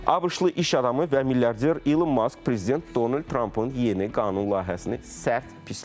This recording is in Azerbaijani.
ABŞ-lı iş adamı və milyarder Elon Mask prezident Donald Trampın yeni qanun layihəsini sərt pisləyib.